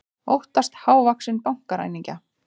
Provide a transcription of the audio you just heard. Óttast hávaxinn bankaræningja